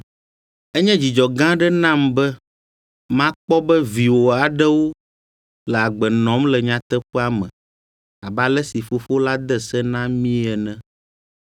Enye dzidzɔ gã aɖe nam be makpɔ be viwò aɖewo le agbe nɔm le nyateƒea me abe ale si Fofo la de se na míe ene.